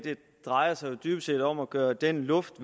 drejer sig jo dybest set om at gøre den luft